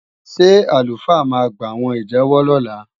Ṣé àlùfáà máa gbàwọn ìjẹ́wọ́ lọ́la?